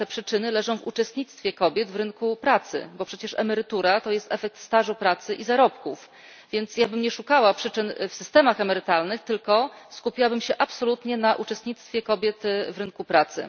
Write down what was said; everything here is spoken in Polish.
A te przyczyny leżą uczestnictwie kobiet w rynku pracy, bo przecież emerytura to jest efekt stażu pracy i zarobków, więc ja bym nie szukała przyczyn w systemach emerytalnych, tylko skupiłabym się absolutnie na uczestnictwie kobiet w rynku pracy.